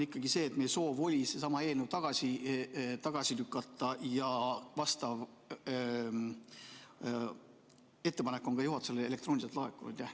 Meie soov oli seesama eelnõu tagasi lükata ja vastav ettepanek on juhatusele elektrooniliselt ka laekunud.